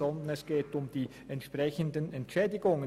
Vielmehr geht es um die entsprechenden Entschädigungen.